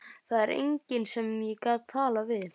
Það var enginn sem ég gat talað við.